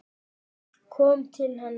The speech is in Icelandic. Fólk kom til hennar.